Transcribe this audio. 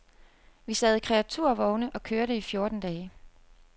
Vi sad i kreaturvogne og kørte i fjorten dage.